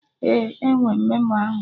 Ee, enwe m memo ahụ